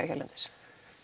hérlendis